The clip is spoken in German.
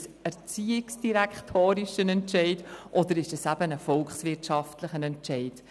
Ist es ein erziehungsdirektorialer oder ein volkswirtschaftlicher Entscheid?